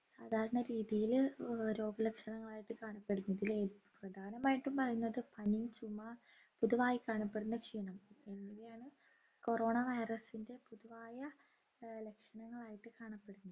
സാധാരണരീതിയിൽ അഹ് രോഗലക്ഷണങ്ങളായിട്ട് കാണുന്നപ്പെടുന്നതിൽ ഏറ്റ പ്രധാനമായിട്ടും പറയുന്നത് പനി ചുമ ഇതുമായി കാണപ്പെടുന്ന ക്ഷീണം എന്നിവയാണ് corona virus ൻ്റെ പൊതുവായ ഏർ ലക്ഷണങ്ങളായിട്ട് കാണപ്പെടുന്നത്